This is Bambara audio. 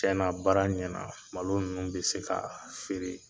Cɛna baara ɲɛna malo ninnu be se ka feere